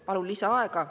Palun lisaaega.